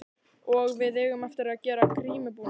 Og við eigum eftir að gera grímubúning.